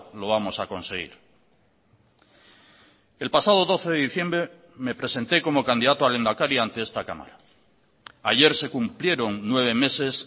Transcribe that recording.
lo vamos a conseguir el pasado doce de diciembre me presenté como candidato a lehendakari ante esta cámara ayer se cumplieron nueve meses